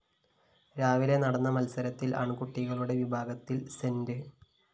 രാവിലെ നടന്ന മത്സരത്തില്‍ ആണ്‍കുട്ടികളുടെ വിഭാഗത്തില്‍ സെന്റ്